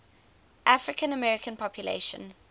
african american population